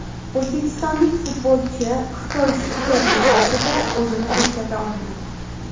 O‘zbekistonlik futbolchi Xitoy Super Ligasida o‘zini ko‘rsata olmadi.